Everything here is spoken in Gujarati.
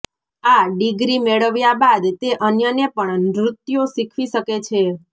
આ ડિગ્રી મેળવ્યા બાદ તે અન્યને પણ નૃત્યો શિખવી શકે છે